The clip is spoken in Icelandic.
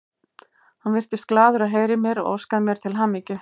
Hann virtist glaður að heyra í mér og óskaði mér til hamingju.